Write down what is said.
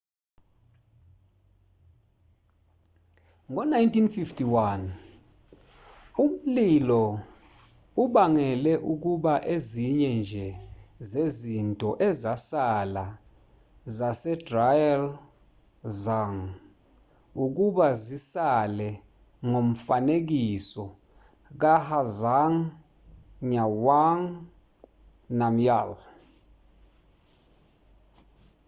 ngo-1951 umlilo ubangele ukuba ezinye nje zezinto ezasala zasedrukgyal dzong ukuba zisale njengomfanekiso kazhabdrung ngawang namgyal